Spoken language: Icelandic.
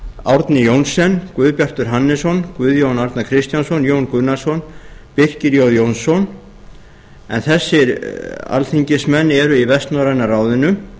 árni johnsen guðbjartur hannesson guðjón a kristjánsson jón gunnarsson birkir j jónsson en þessir alþingismenn eru í vestnorræna ráðinu